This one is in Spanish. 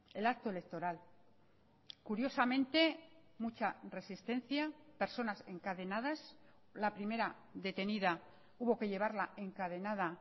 el acto electoral curiosamente mucha resistencia personas encadenadas la primera detenida hubo que llevarla encadenada